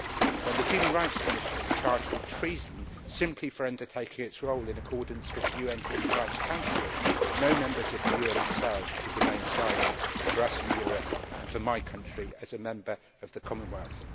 When the Human Rights Commission is charged with treason, simply for undertaking its role in accordance with UN Human Rights Council, no members of the UN itself should remain silent for us in Europe and for my country as a Member of the Commonwealth.